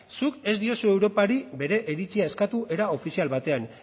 zuk ez diozu europari bere iritzia eskatu era ofizial batean